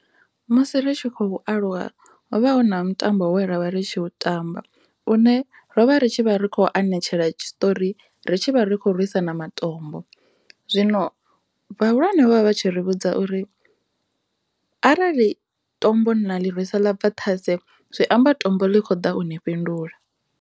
Musi ri tshi khou aluwa ho vha hu na mutambo une ra u tamba une ro vha ri tshi khou anetshela tshiṱori ri tshi vha ri khou rwisana matombo zwino vhahulwane vha tshi ri vhudza uri arali tombo na ḽi rwisa ḽa bva ṱhase zwiamba tombo ḽi kho ḓa uni fhindula.